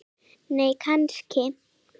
nei kannski